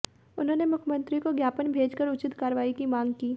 उन्होंने मुख्यमंत्री को ज्ञापन भेजकर उचित कार्रवाई की मांग की